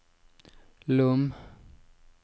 Lom